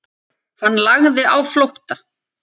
Hann lagði á flótta.